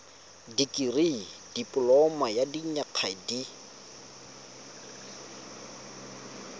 dikirii dipoloma ya dinyaga di